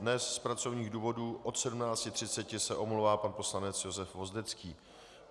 Dnes z pracovních důvodů od 17.30 se omlouvá pan poslanec Josef Hvozdecký.